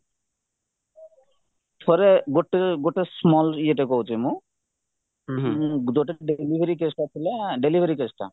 ଥରେ ଗୋଟେ ଗୋଟେ small ଇଏଟେ କହୁଛି ମୁଁ ଯୋଉଟାକି delivery caseଟା ଥିଲା delivery caseଟା